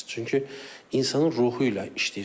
Çünki insanın ruhu ilə işləyirsən.